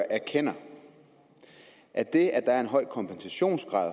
erkender at det at der er en høj kompensationsgrad